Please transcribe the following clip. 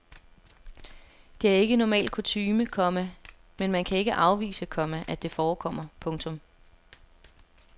Det er ikke normal kutyme, komma men man kan ikke afvise, komma at det forekommer. punktum